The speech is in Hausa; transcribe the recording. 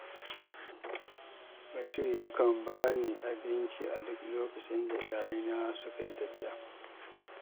Bashir yakan ba ni abinci a duk lokacin da iyalaina suka yi tafiya.